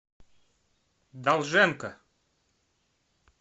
долженко